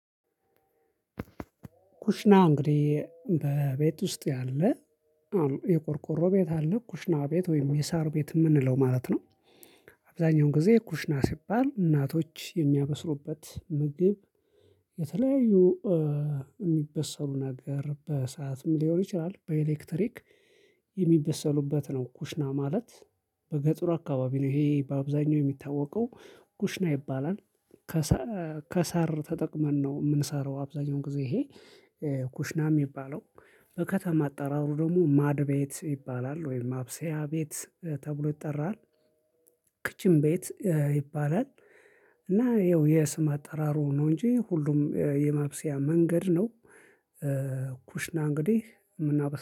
ኩሽና እንግዲህ በቤት ውስጥ ያለ የቆርቆሮ ቤት አለ ኩሽና ቤት ወይም የሳር ቤት የምንለው ማለት ነው። አብዛኛውን ጊዜ ኩሽና ሲባል እናቶች የሚያበስሉበት ምግብ የተለያዩ የሚበሰሉ ነገር በእሳትም ሊሆን ይችላል በኤሌክትሪክ የሚበሰሉበት ነው። ኩሽና ማለት በገጥሩ አካባቢ ነው ይሄ በአብዛኛው የሚታወቀው ኩሽና ይባላል። ከሰር ተጠቅመን ነው የምንሰራው አብዛኛውን ጊዜ ይሄ ኩሽና የሚባለው በከተማ አጠራሩ ደግሞ ማድ ቤት ይባላል ወይም ማብሰያ ቤት ተብሎ ይጠራል። ክችን ቤት ይባላል እና ይኸው የስም አጠራሩ ነው እንጂ ሁሉም የማብሰያ መንገድ ነው። ኩሽና እንግዲህ የምናበስ